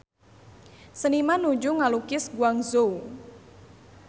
Seniman nuju ngalukis Guangzhou